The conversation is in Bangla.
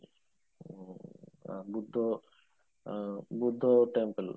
আমি তো বুদ্ধ দেব temple